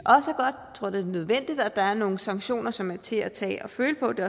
tror det er nødvendigt at der er nogle sanktioner som er til at tage og føle på det